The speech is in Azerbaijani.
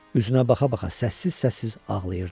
Üzünə baxa-baxa səssiz-səssiz ağlayırdı.